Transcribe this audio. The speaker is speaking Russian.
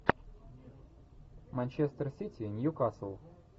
манчестер сити ньюкасл